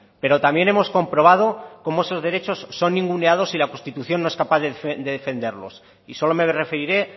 pero también hemos comprobado como esos derechos son ninguneados y la constitución no es capaz de defenderlos y solo me referiré